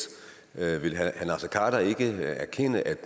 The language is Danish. altså